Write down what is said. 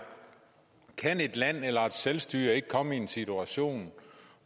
kan et land eller et selvstyre ikke komme i en situation